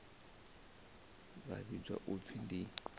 vha vhidzwa u pfi ndi